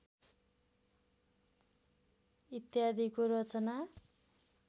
इत्यादिको रचना